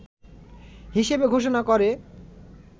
হিসেবে ঘোষনা করে